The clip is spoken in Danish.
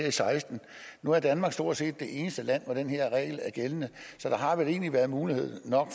og seksten nu er danmark stort set det eneste land hvor den her regel er gældende så der har vel egentlig været nok mulighed